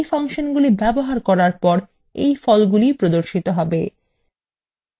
এই ফাংশনগুলি ব্যবহার করার পর এই ফলাফলগুলি প্রদর্শিত হবে